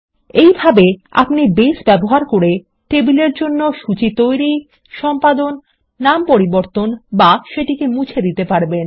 এই ভাবে আপনি বেজ ব্যবহার করে টেবিল এর জন্য সূচী তৈরি সম্পাদন নামান্তর করতে বা মুছে দিতে পারেন